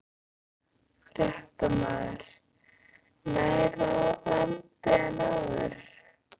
Fréttamaður: Nær landi en áður?